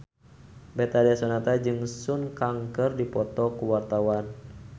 Betharia Sonata jeung Sun Kang keur dipoto ku wartawan